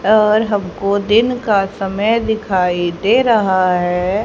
और हमको दिन का समय दिखाई दे रहा है।